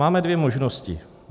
Máme dvě možnosti.